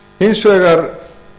hins vegar